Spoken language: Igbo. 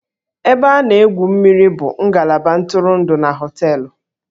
Ebe a na-egwu mmiri bụ ngalaba ntụrụndụ na hóteélụ̀